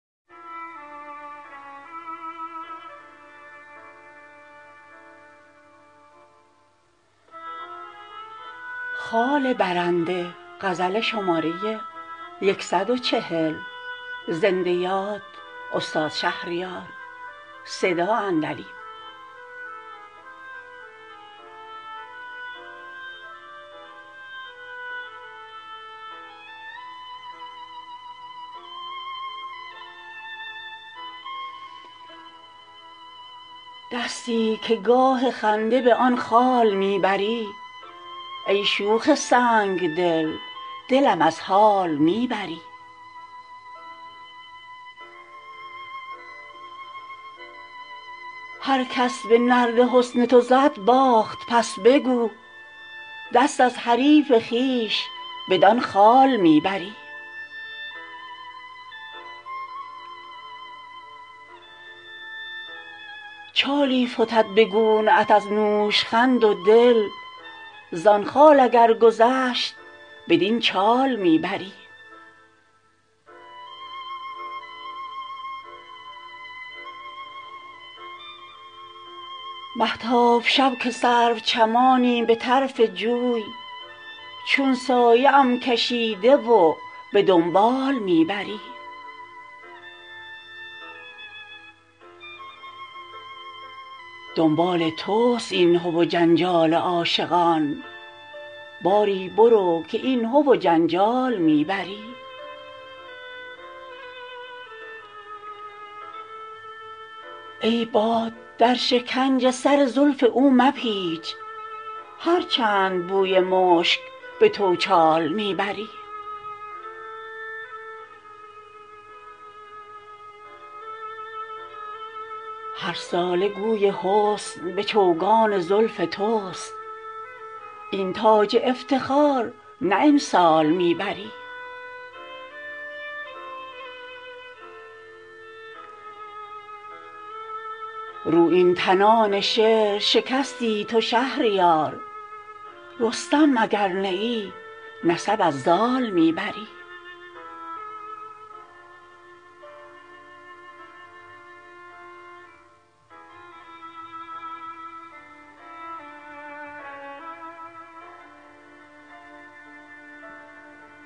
دستی که گاه خنده به آن خال می بری ای شوخ سنگدل دلم از حال می بری هرکس به نرد حسن تو زد باخت پس بگو دست از حریف خویش بدان خال می بری چالی فتد به گونه ات از نوشخند و دل زان خال اگر گذشت بدین چال می بری مهتاب شب که سرو چمانی به طرف جوی چون سایه ام کشیده و به دنبال می بری یک شب به ماه روی تو خوش بود فال ما ای سنگدل که آینه فال می بری دنبال تست این هو و جنجال عاشقان باری برو که این هو و جنجال می بری ای باد در شکنج سر زلف او مپیچ هرچند بوی مشک به توچال می بری هرساله گوی حسن به چوگان زلف تست این تاج افتخار نه امسال می بری بر چهره تو پیچه مشکین حجاب نیست جانا مکن که آب به غربال می بری رویین تنان شعر شکستی تو شهریار رستم اگر نه ای نسب از زال می بری